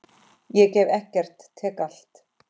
Ég gef ekkert, tek allt.